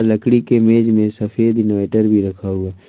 लकड़ी के मेज में सफेद इनवर्टर भी रखा हुआ।